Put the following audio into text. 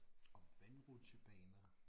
Og vandrutsjebaner